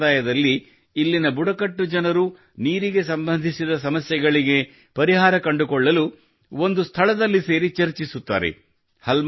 ಈ ಸಂಪ್ರದಾಯದಲ್ಲಿ ಇಲ್ಲಿನ ಬುಡಕಟ್ಟು ಜನರು ನೀರಿಗೆ ಸಂಬಂಧಿಸಿದ ಸಮಸ್ಯೆಗಳಿಗೆ ಪರಿಹಾರವನ್ನು ಕಂಡುಕೊಳ್ಳಲು ಒಂದು ಸ್ಥಳದಲ್ಲಿ ಸೇರಿ ಚರ್ಚಿಸುತ್ತಾರೆ